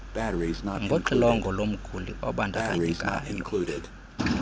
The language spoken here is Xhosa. ngoxilongo lomguli obandakanyekayo